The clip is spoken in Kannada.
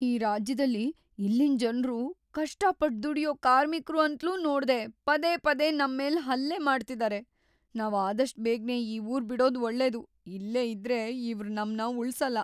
ಈ ರಾಜ್ಯದಲ್ಲಿ ಇಲ್ಲಿನ್‌ ಜನ್ರು ಕಷ್ಟಪಟ್ಟ್‌ ದುಡ್ಯೋ ಕಾರ್ಮಿಕ್ರು ಅಂತ್ಲೂ ನೋಡ್ದೇ ಪದೇ ಪದೇ ನಮ್ಮೇಲ್‌‌ ಹಲ್ಲೆ ಮಾಡ್ತಿದಾರೆ, ನಾವ್ ಆದಷ್ಟ್‌‌ ಬೇಗ್ನೆ ಈ ಊರ್‌ ಬಿಡೋದ್‌ ಒಳ್ಳೇದು, ಇಲ್ಲೇ ಇದ್ರೆ ಇವ್ರ್‌ ನಮ್ನ ಉಳ್ಸಲ್ಲ.